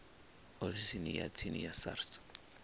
ofisini ya tsini ya sars